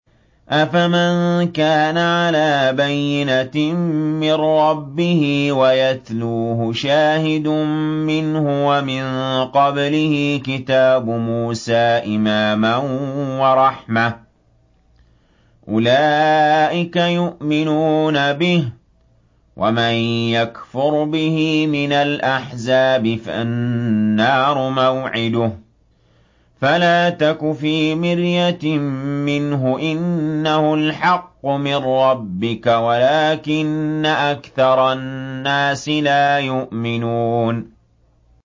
أَفَمَن كَانَ عَلَىٰ بَيِّنَةٍ مِّن رَّبِّهِ وَيَتْلُوهُ شَاهِدٌ مِّنْهُ وَمِن قَبْلِهِ كِتَابُ مُوسَىٰ إِمَامًا وَرَحْمَةً ۚ أُولَٰئِكَ يُؤْمِنُونَ بِهِ ۚ وَمَن يَكْفُرْ بِهِ مِنَ الْأَحْزَابِ فَالنَّارُ مَوْعِدُهُ ۚ فَلَا تَكُ فِي مِرْيَةٍ مِّنْهُ ۚ إِنَّهُ الْحَقُّ مِن رَّبِّكَ وَلَٰكِنَّ أَكْثَرَ النَّاسِ لَا يُؤْمِنُونَ